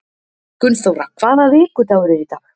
Gunnþóra, hvaða vikudagur er í dag?